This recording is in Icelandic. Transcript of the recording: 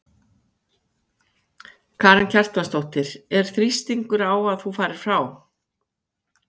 Karen Kjartansdóttir: Er þrýstingur á að þú farir frá?